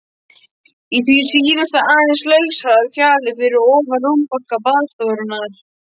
Í því síðasta aðeins lausar fjalir fyrir ofan rúmbálka baðstofunnar.